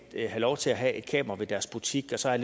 lov til at have et kamera ved deres butik og så er